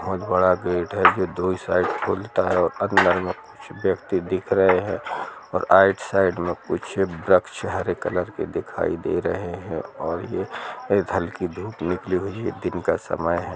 बहुत बड़ा गेट है दो ही साइड खुलता हैऔर अंदर मे कुछ व्यक्ति दिख है और आउट साइड मे कुछ वृक्ष हरे कलर के दिखाई दे रहे है और ये हल्की धूप निकली हुई है दिन का समय है।